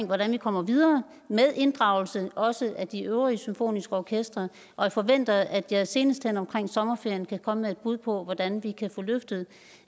hvordan vi kommer videre med inddragelse også af de øvrige symfoniske orkestre og jeg forventer at jeg senest hen omkring sommerferien kan komme med et bud på hvordan vi kan få løftet